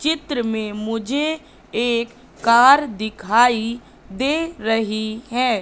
चित्र में मुझे एक कार दिखाई दे रही है।